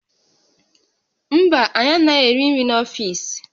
Mba, anyị anaghị eri nri n'ọfiisi